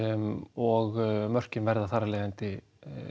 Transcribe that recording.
og mörkin verða þar af leiðandi